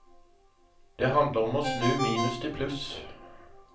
Det handler om å snu minus til pluss.